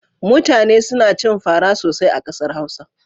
Mutane suna cin fara sosai a ƙasar Hausa.